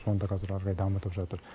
соны да қазір ары қарай дамытып жатыр